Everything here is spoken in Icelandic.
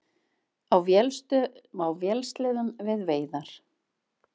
Á vélsleðum við veiðar